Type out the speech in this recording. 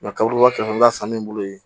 kaba kɛrɛfɛla sanni bolo yen